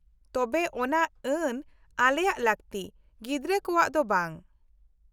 ᱛᱚᱵᱮ ᱚᱱᱟ ᱟᱹᱱ ᱟᱞᱮᱭᱟᱜ ᱞᱟᱹᱠᱛᱤ, ᱜᱤᱫᱽᱨᱟᱹ ᱠᱚᱣᱟᱜ ᱫᱚ ᱵᱟᱝ ᱾